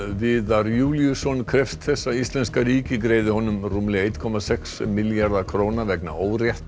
Viðar Júlíusson krefst þess að íslenska ríkið greiði honum rúmlega einn komma sex milljarða króna vegna